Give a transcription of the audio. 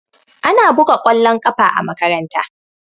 Ana buga kwallon ƙafa a makaranta